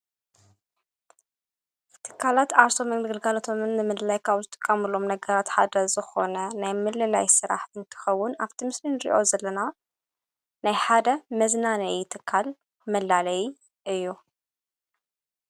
ፍትካላት ኣርሶ ሜላ ግልጋለቶምን ምልላይካዊ ዝጥቃሙሎም ነገራት ሓደ ዝኾነ ናይ ምለላይ ሥራሕ እንትኸውን፤ ኣብቲምስርን ርእዮ ዘለና ናይ ሓደ መዝናነተካል መላለይ እዩ።